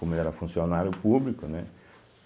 Como ele era funcionário público, né?